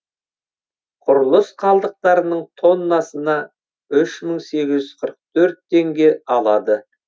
құрылыс қалдықтарының тоннасына үш мың сегіз жүз қырық төрт теңге алады